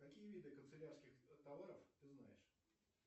какие виды канцелярских товаров ты знаешь